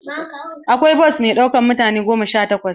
Akwai bos mai ɗaukan mutane goma sha takwas.